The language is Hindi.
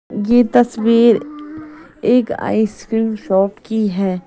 ये तस्वीर एक आइसक्रीम शॉप की है।